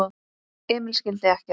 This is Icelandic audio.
Emil skildi ekkert.